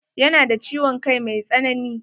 Ya na da ciwon kai mai tsanani.